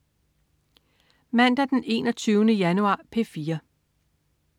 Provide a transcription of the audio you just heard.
Mandag den 21. januar - P4: